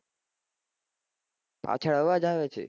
પાછળ અવાજ આવે છે